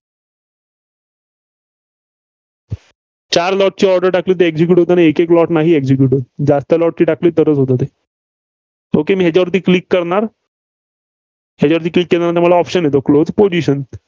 चार lot ची order टाकली होती execute होताना एकएक lot नाही execute होत. जास्त lot ची टाकली तरच होते ते. Okay मी ह्याच्यावरी Click करणार. ह्याच्यावरी Click केल्यानंतर मला option येतो Close position